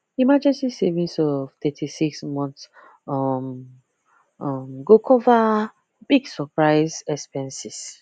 emergency savings of 36 months um um go cover big surprise expenses